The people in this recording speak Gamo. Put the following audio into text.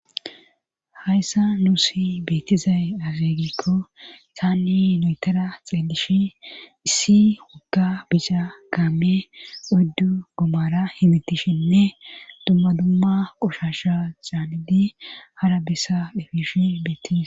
Hayssa nuusi beettizay azeegikko taanni noytara xeelishi issi wogga bisha kaame uddu gomara himitishinne dumma dumma qoshasha caanidi hara bessa dhefishi bettiza.